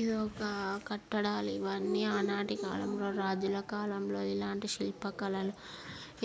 ఇదొక్క కట్టడాలు.ఇవన్నీ ఆనాటి కాలంలో రాజుల కాలంలో ఇలాంటి శిల్ప కళలు